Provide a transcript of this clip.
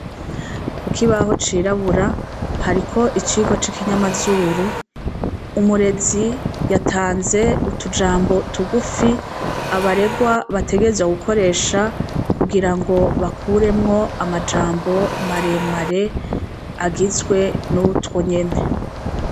Kukibaho cirabura hariko icirwa c'ikinyamazuru, umurezi yatanze utujambo tugufi abaregwa bategezwa gukoresha kugira ngo bakuremwo amajambo maremare agizwe n'utwo nyene.